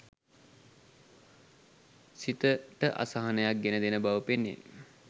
සිතට අසහනයක් ගෙන දෙන බව පෙනේ.